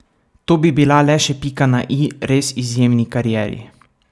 To bi bila le še pika na i res izjemni karieri.